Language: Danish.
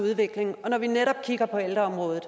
udvikling og når vi netop kigger på ældreområdet